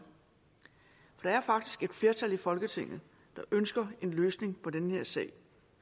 der er faktisk et flertal i folketinget der ønsker en løsning på den her sag